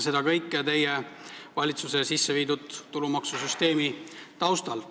See kõik on toimunud teie valitsuse sisseviidud tulumaksusüsteemi taustal.